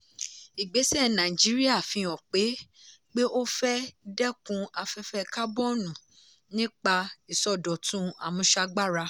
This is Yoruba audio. ìgbésẹ̀ nàìjíríà fi hàn pé pé ó fẹ́ dẹ́kun afẹ́fẹ́ kábọ́ọ̀nù nípa ìsọdọ̀tun àmúṣagbára.